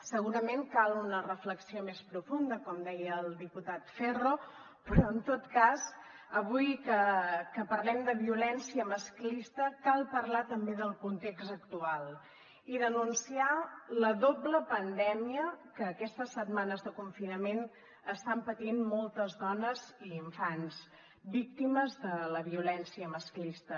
segurament cal una reflexió més profunda com deia el diputat ferro però en tot cas avui que parlem de violència masclista cal parlar també del context actual i denunciar la doble pandèmia que aquestes setmanes de confinament estan patint moltes dones i infants víctimes de la violència masclista